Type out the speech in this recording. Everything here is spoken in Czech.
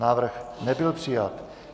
Návrh nebyl přijat.